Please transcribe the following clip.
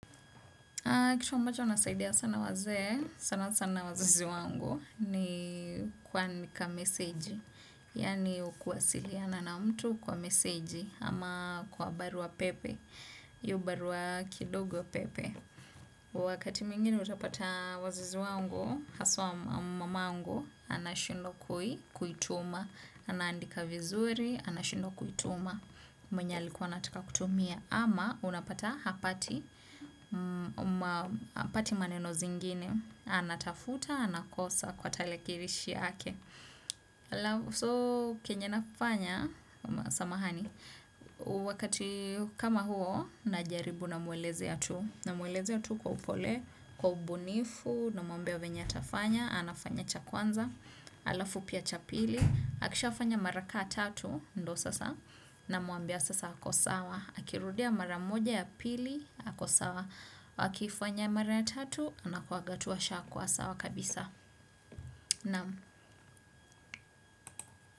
Kitu ambacho unasaidia sana wazee, sana sana wazizi wangu ni kuandika meseji. Yaani kuwasiliana na mtu kwa meseji ama kwa barua pepe, hio barua kidogo pepe. Wakati mwingine utapata wazizi wangu, haswa mamangu, anashindwa kuituma, anaandika vizuri, anashindwa kuituma. Mwenye alikuwa anataka kutumia ama unapata hapati hapati maneno zingine anatafuta, anakosa kwa tarakilishi yake so kenye nafanya samahani wakati kama huo najaribu namwelezea tu namwelezea tu kwa upole kwa ubunifu, namwambia venye atafanya anafanya cha kwanza alafu pia cha pili akishafanya mara ka tatu ndo sasa namwambia sasa ako sawa akirudia mara moja ya pili ako sawa akifanya mara ya tatu na kuaga tu ashakuwa sawa kabisa naam.